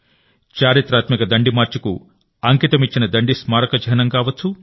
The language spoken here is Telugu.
చరిత్రాత్మక దండి మార్చ్ కు అంకితమిచ్చిన దండి స్మారక చిహ్నం కావచ్చు